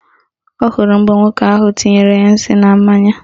Ọ hụrụ mgbe nwoke ahụ tinyere ya nsị na mmanya